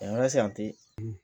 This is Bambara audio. A yɔrɔ sisan ten